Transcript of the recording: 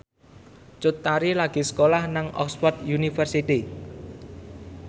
Cut Tari lagi sekolah nang Oxford university